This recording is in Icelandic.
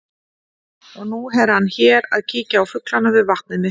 Og nú er hann hér að kíkja á fuglana við vatnið mitt.